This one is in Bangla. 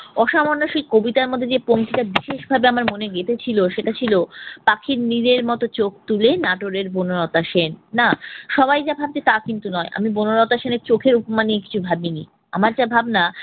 অসামান্য সেই কবিতার মধ্যে যে পঙক্তিটা বিশেষভাবে আমার মনে গেঁথেছিল সেটা ছিল পাখির নীড়ের মত চোখ তোলে নাটোরের বনলতা সেন। না সবাই যা ভাবছে তা কিন্তু নয়, আমি বনলতা সেনের চোখের উপমা নিয়ে কিছু ভাবিনি। আমার যা ভাবনা